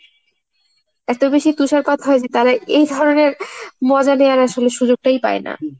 এতবেশি তুষারপাত হয় যে তারা এইধরনের মজা নেওয়ার আসলে সুযোগটাই পায় না।